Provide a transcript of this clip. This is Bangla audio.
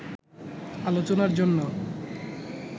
আলোচনার জন্য